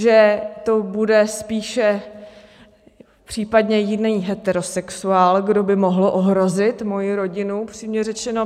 Že to bude spíše případně jiný heterosexuál, kdo by mohl ohrozit moji rodinu, upřímně řečeno.